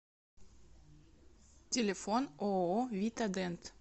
телефон ооо витадент